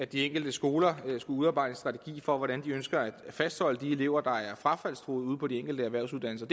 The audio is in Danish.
de enkelte skoler skulle udarbejde en strategi for hvordan de ønsker at fastholde de elever der er frafaldstruede ude på de enkelte erhvervsuddannelser